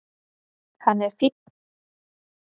Hann er fínn.